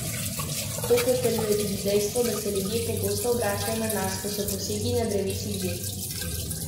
To potrjuje tudi dejstvo, da se ljudje pogosto obračajo na nas, ko so posegi na drevesih že izvedeni.